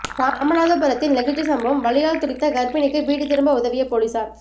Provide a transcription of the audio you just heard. ராமநாதபுரத்தில் நெகிழ்ச்சி சம்பவம் வலியால் துடித்த கர்ப்பிணிக்கு வீடு திரும்ப உதவிய போலீசார்